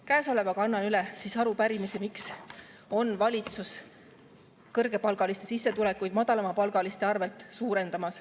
Käesolevaga annan üle arupärimise, miks on valitsus suurendamas kõrgepalgaliste sissetulekuid madalamapalgaliste arvel.